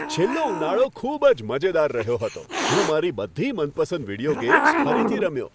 છેલ્લો ઉનાળો ખૂબ જ મજેદાર રહ્યો હતો. હું મારી બધી મનપસંદ વીડિયો ગેમ્સ ફરીથી રમ્યો.